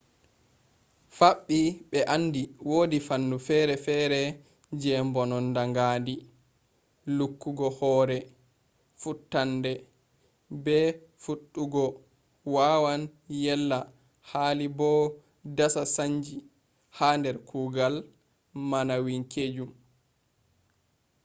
fabbi be andi wodi fannu fere-fere je mbononnda ngaandi lukkugo hore futtannde be fuddugo wawan yella hali bo dasa sannji ha der kuugal maanawwinkeejum